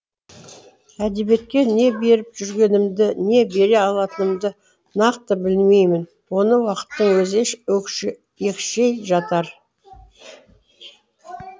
әдебиетке не беріп жүргенімді не бере алатынымды нақты білмеймін оны уақыттың өзі екшей жатар